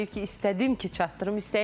Əlövsət müəllim deyir ki, istədim ki, çatdırım.